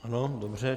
Ano, dobře.